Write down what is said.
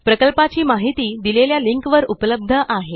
प्रकल्पाची माहिती दिलेल्या लिंकवर उपलब्ध आहे